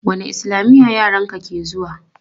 Wanne islamiya yaran ka ke zuwa?